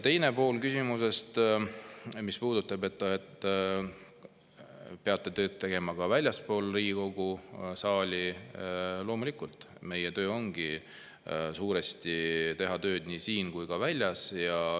Teine pool küsimusest, mis puudutab seda, et peate tööd tegema ka väljaspool Riigikogu saali – loomulikult, meie töö ongi suuresti teha tööd nii siin kui ka väljas.